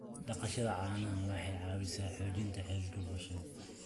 Dhaqashada caanaha waxay caawisaa xoojinta xiriirka bulshada.